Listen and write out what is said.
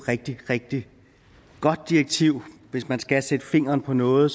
rigtig rigtig godt direktiv hvis man skal sætte fingeren på noget